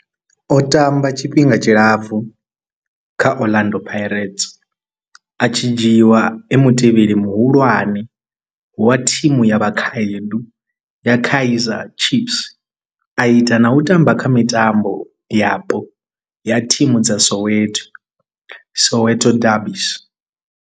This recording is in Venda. O tamba tshifhinga tshilapfhu kha Orlando Pirates, a tshi dzhiiwa e mutevheli muhulwane wa thimu ya vhakhaedu ya Kaizer Chiefs, a ita na u tamba kha mitambo yapo ya thimu dza Soweto Soweto derbies.